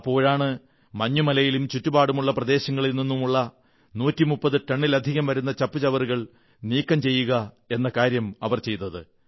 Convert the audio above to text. അപ്പോഴാണ് മഞ്ഞുമലയിലും ചുറ്റുപാടുമുള്ള പ്രദേശത്തുനിന്നുള്ള 130 ടണ്ണിലധികം വരുന്ന ചപ്പുചവറുകൾ നീക്കം ചെയ്യുക എന്ന കാര്യം ചെയ്തത്